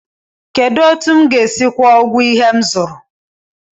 Kedụ etu m ga-esi kwuo ụgwọ ihe m zụrụ?